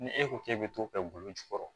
Ni e ko k'e bɛ t'o kɛ golo jukɔrɔ